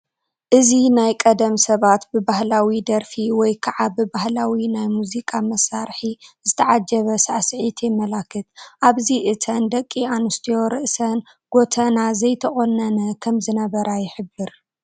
እዚ ናይ ቀደም ሰባት ብባህላዊ ደርፊ ወይ ከዓ ብባህላዊ ናይ ሙዚቃ መሳርሒ ዝተዓጀበ ሳዕሲዒት የመላኽት፡፡ ኣብዚ እተን ደቂ ኣንስትዮ ርእሰን ጎተና ዘይተቆነነ ከምዝነበራ ይሕብር፡፡